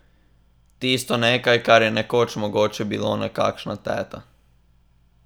Tisto nekaj, kar je nekoč mogoče bilo nekakšna teta.